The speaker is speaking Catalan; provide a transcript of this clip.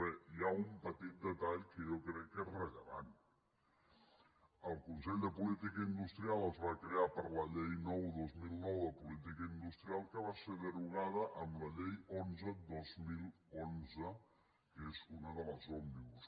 bé hi ha un petit detall que jo crec que és rellevant el consell de política industrial es va crear per la llei nou dos mil nou de política industrial que va ser derogada amb la llei onze dos mil onze que és una de les òmnibus